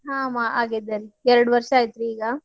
ಹಾ ಆಗೇತಿ ಎರಡ್ ವರ್ಷಾ ಅಯಿತ್ರಿ ಈಗ.